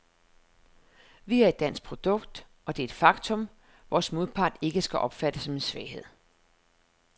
Vi er et dansk produkt, og det er et faktum, vores modpart ikke skal opfatte som en svaghed.